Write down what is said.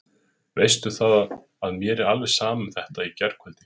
Veistu það að mér er alveg sama um þetta í gærkvöldi.